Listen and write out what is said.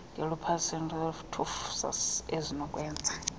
ngelupus erythematosus ezinokwenza